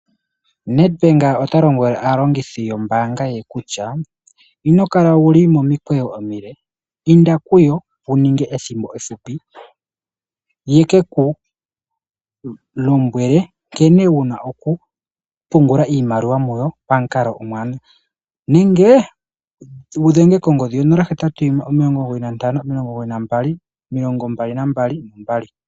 Nedbank ota lombwele aalongithi yombaanga ye kutya ino kala wu li momikweyo omile, inda kuyo wu ninge ethimbo ehupi, ye ke ku lombwele nkene wu na okupungula iimaliwa muyo pamukalo omuwanawa nenge wu dhenge kongodhi 081959222.